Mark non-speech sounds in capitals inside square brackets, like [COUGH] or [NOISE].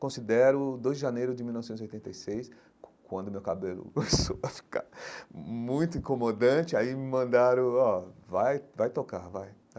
Considero dois de janeiro de mil novecentos e oitenta e seis, quando meu cabelo [LAUGHS] começou a ficar muito incomodante, aí me mandaram, ó, vai, vai tocar, vai.